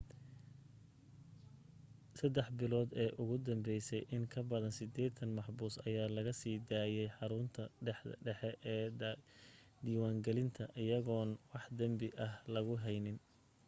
3 bilood ee ugu danbese in kabadan 80 maxbuus ayaa laga sii daayay xarunta dhaxe ee diwaan gelinta ayagoon wax danbi ah lagu edeyn